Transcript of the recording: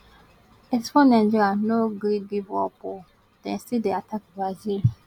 eighty four nigeria no gree give up o dem still dey attack brazil